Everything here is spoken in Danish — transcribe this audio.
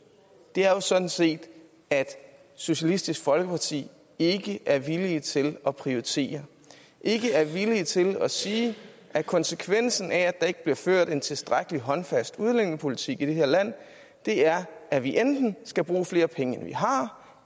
er jo sådan set at socialistisk folkeparti ikke er villig til at prioritere ikke er villig til at sige at konsekvensen af at der ikke bliver ført en tilstrækkelig håndfast udlændingepolitik i det her land er at vi enten skal bruge flere penge end vi har